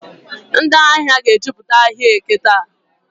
Ndị ahịa ga-ejupụta ahịa Eke taa.